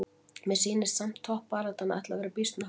Mér sýnist samt toppbaráttan ætli að vera býsna hörð!